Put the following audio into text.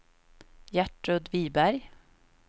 Gertrud Wiberg